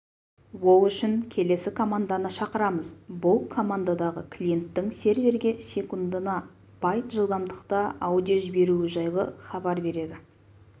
ол үшін келесі команданы шақырамыз бұл командадағы клиенттің серверге секундына байт жылдамдықта аудио жіберуі жайлы хабар береді